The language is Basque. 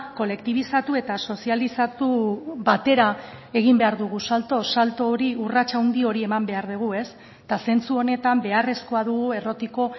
kolektibizatu eta sozializatu batera egin behar dugu salto salto hori urrats handi hori eman behar dugu eta zentzu honetan beharrezkoa dugu errotiko